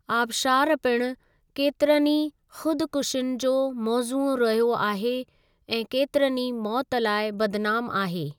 आबशारु पिणु केतिरनि ई ख़ुदकुशियुनि जो मौज़ूअ रहियो आहे ऐं केतिरनि ई मौतु लाइ बदनाम आहे।